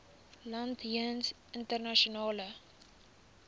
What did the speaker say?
land jeens internasionale